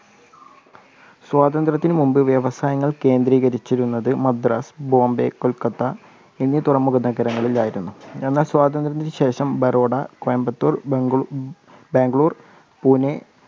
സ്വതന്ത്രതിനുമുമ്പ് വ്യവസായങ്ങള്‍ കേന്ദ്രീകരിച്ചിരുന്നത് മദ്രാസ്‌, ബോംബെ, കൊൽക്കത്ത എന്നീ തുറമുഖ നഗരങ്ങളിലായിരുന്നു. എന്നാല്‍ സ്വാതന്ത്ര്യത്തിന് ശേഷം ബറോഡ, കോയമ്പത്തൂര്‍, ബാംഗ്ലൂര്‍, പൂനെ